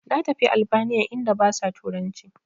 Na tafi albaniya inda basa turanci